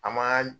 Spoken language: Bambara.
An ma